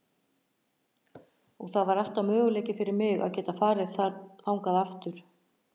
Og það er alltaf möguleiki fyrir mig að geta farið þangað aftur.